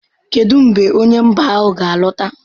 Kedu mgbe onye mba ahụ ga-alọta?